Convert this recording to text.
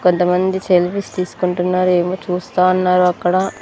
కొంతమంది సెల్ఫీస్ తీసుకుంటున్నారు ఏమో చూస్తా ఉన్నారు అక్కడ.